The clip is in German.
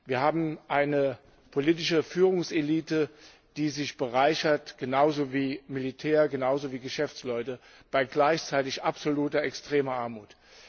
Wir haben eine politische Führungselite, die sich bereichert genauso wie Militär, genauso wie Geschäftsleute bei gleichzeitig absoluter, extremer Armut.